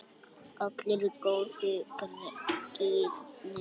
Allir í góða gírnum.